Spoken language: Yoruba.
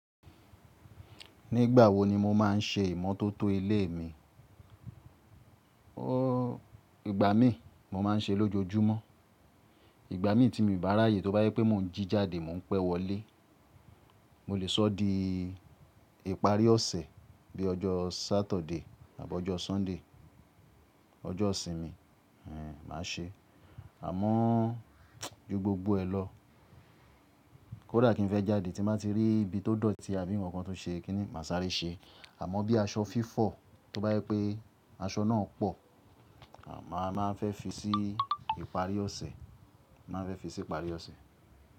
Nígbà wo ni mo máa ń ṣe ìmọ́tótó ilé mi? Ìgbà mí mo máa ń ṣe lójoojúmọ́. Ìgbà mi tí mi n bá ráyè, tó bá jé pé mò ń jí jáde, mò ń pẹ́ wọlé. Mo lè sọ́ di ìparí ọ̀sẹ̀ bí ojó Saturday àbi ojó Sunday, ojó isìnmi, ẹhn, màá ṣe. Àmọ́ ju gbogbo ẹ lọ, kódà kín fẹ́ jáde tí n bá ti rí ibi tó dọ̀tí abí nkan kan tó ṣe kí ni mà sáré ṣe. Àmọ́ bí aṣọ fi fọ̀, tó bá jé pé aṣọ náà pọ̀, màá máa fẹ́ fi sí ìparí ọ̀sẹ̀, màá n fẹ́ fi sí ìparí ọ̀sẹ̀.